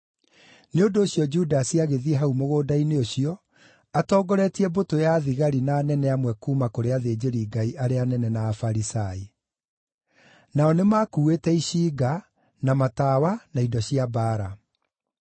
Nĩ ũndũ ũcio Judasi agĩthiĩ hau mũgũnda-inĩ ũcio, atongoretie mbũtũ ya thigari na anene amwe kuuma kũrĩ athĩnjĩri-Ngai arĩa anene na Afarisai. Nao nĩmakuuĩte icinga, na matawa, na indo cia mbaara.